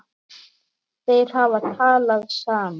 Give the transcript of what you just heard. Þeir hafa talað saman.